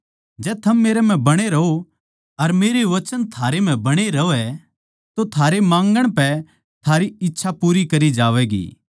जै थम मेरै म्ह बणे रहो अर मेरे वचन थारै म्ह बणे रहवै तो थारे माँगण पै थारी इच्छा पूरी करी जावैगी